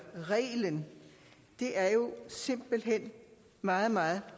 reglen det er jo simpelt hen meget meget